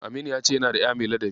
Aminu ya ce yana da ƴa mai ladabi.